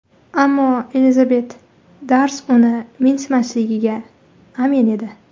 Ammo Elizabet Darsi uni mensimasligiga amin edi.